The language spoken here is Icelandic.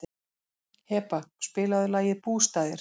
Heba, spilaðu lagið „Bústaðir“.